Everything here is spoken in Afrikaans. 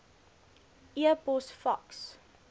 e pos faks